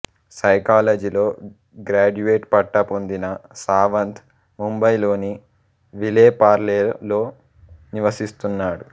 సైకాలజీలో గ్రాడ్యుయేట్ పట్టా పొందిన సావంత్ ముంబైలోని విలే పార్లేలో నివసిస్తున్నాడు